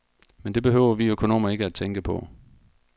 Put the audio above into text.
Men det behøver vi økonomer ikke tænke på.